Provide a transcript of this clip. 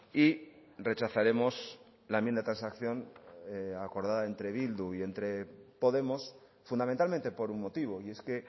y rechazaremos la enmienda de transacción acordada entre bildu y entre podemos fundamentalmente por un motivo y es que